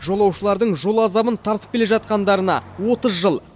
жолаушылардың жол азабын тартып келе жатқандарына отыз жыл